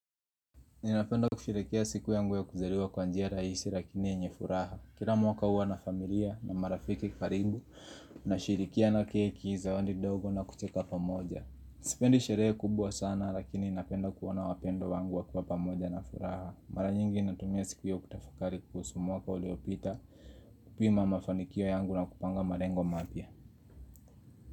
Ninapenda kusherehekea siku yangu ya kuzaliwa kwa njia rahisi lakini yenye furaha. Kila mwaka huwa na familia na marafiki karibu, nasherehekea na keki, zawadi ndogo na kucheka pamoja. Sipendi sherehe kubwa sana lakini napenda kuona wapendwa wangu wakiwa pamoja na furaha. Mara nyingi ninatumia siku hiyo kutafakari kuhusu mwaka uliopita kupima mafanikio yangu na kupanga malengo mapya.